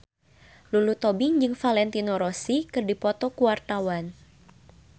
Lulu Tobing jeung Valentino Rossi keur dipoto ku wartawan